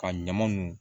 Ka ɲama nunnu